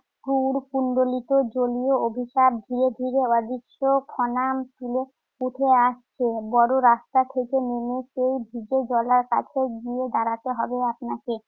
কুড়কুন্ডলীত জলীয় অভিশাপ ধীরে ধীরে অদৃশ্য ফনা তুলে উঠে আসছে। বড় রাস্তা থেকে নেমে সেই ভিজে জলার কাছে গিয়ে দাড়াতে হবে আপনাকে।